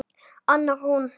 Anna Rún.